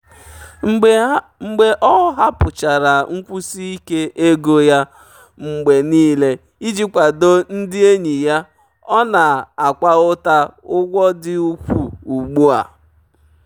mgbe ọ hapụchara nkwụsi ike ego ya mgbe niile iji kwado ndị enyi ya ọ na-akwa ụta ụgwọ dị ukwuu ugbu a. um